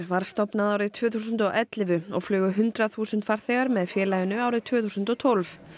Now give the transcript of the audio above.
var stofnað árið tvö þúsund og ellefu og flugu hundrað þúsund farþegar með félaginu árið tvö þúsund og tólf